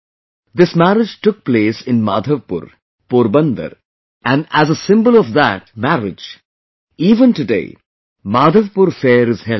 This marriage took place in Madhavpur, Porbandar and as a symbol of the that marriage, even today Madhavpur fair is held there